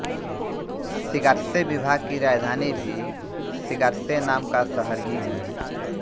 Shigatse विभाग की राजधानी भी शिगात्से नाम का शहर ही है